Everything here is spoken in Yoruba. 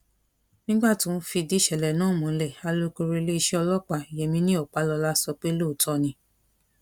nígbà tó ń fìdí ìṣẹlẹ náà múlẹ alūkóró iléeṣẹ ọlọpàá yemini ọpálọlá sọ pé lóòótọ ni